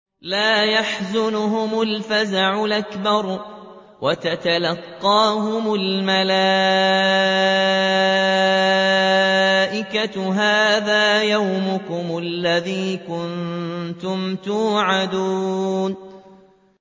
لَا يَحْزُنُهُمُ الْفَزَعُ الْأَكْبَرُ وَتَتَلَقَّاهُمُ الْمَلَائِكَةُ هَٰذَا يَوْمُكُمُ الَّذِي كُنتُمْ تُوعَدُونَ